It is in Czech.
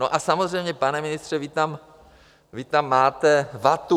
No a samozřejmě, pane ministře, vy tam máte vatu.